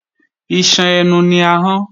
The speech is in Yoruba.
Iṣan inú ẹnu ni ahọ́n